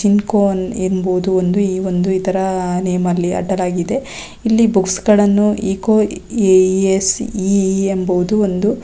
ಜಿಂಕೋನ್ ಎಂಬುದು ಒಂದು ಈ ಒಂದು ಇದರ ನೇಮ್ ಅಲ್ಲಿ ಅಡ್ಡಲಾಗಿದೆ ಇಲ್ಲಿ ಬುಕ್ಸ್ ಗಳನ್ನು ಇಕೋ ಎ.ಇ.ಎಸ್. ಇ.ಇ ಎಂಬುದು ಒಂದು --